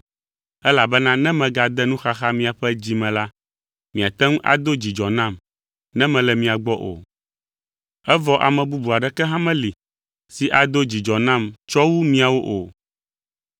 elabena ne megade nuxaxa miaƒe dzi me la, miate ŋu ado dzidzɔ nam ne mele mia gbɔ o. Evɔ ame bubu aɖeke hã meli si ado dzidzɔ nam tsɔ wu miawo o.